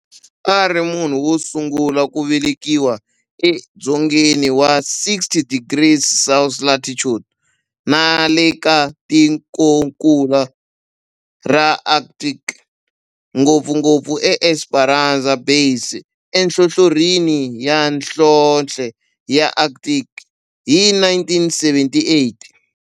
A ri munhu wosungula ku velekiwa edzongeni wa 60 degrees South latitude nale ka tikonkulu ra Antarctic, ngopfungopfu eEsperanza Base enhlohlorhini ya nhlonhle ya Antarctic hi 1978.